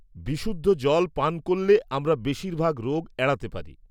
-বিশুদ্ধ জল পান করলে আমরা বেশিরভাগ রোগ এড়াতে পারি।